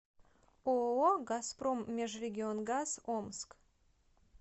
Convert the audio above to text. ооо газпром межрегионгаз омск